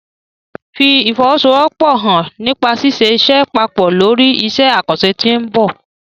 Fi ìfọwọ́sowọ́pọ̀ hàn nípa ṣíṣe iṣẹ́ papọ̀ lórí iṣẹ́ àkànṣe tí ó ń bọ̀.